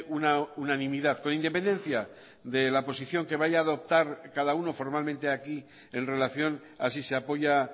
una unanimidad con independencia de la posición que vaya a adoptar cada uno formalmente aquí en relación a si se apoya